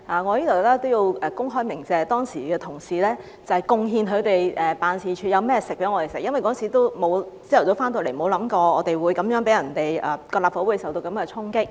我在此也要公開鳴謝當時有同事貢獻他們辦事處的食物給我們，因為當時早上回來，沒有想過立法會會受到這樣的衝擊。